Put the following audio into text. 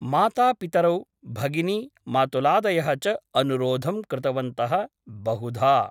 मातापितरौ भगिनी , मातुलादयः च अनुरोधं कृतवन्तः बहुधा ।